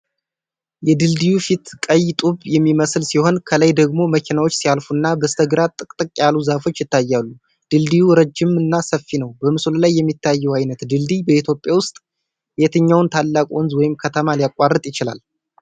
የድልድዩ ፊት ቀይ ጡብ የሚመስል ሲሆን፣ ከላይ ደግሞ መኪናዎች ሲያልፉና በስተግራ ጥቅጥቅ ያሉ ዛፎች ይታያሉ። ድልድዩ ረጅምና ሰፊ ነው። በምስሉ ላይ የሚታየው ዓይነት ድልድይ በኢትዮጵያ ውስጥ የትኛውን ታላቅ ወንዝ ወይም ከተማ ሊያቋርጥ ይችላል?